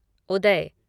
उदय